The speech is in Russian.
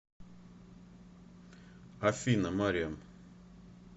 афина мариам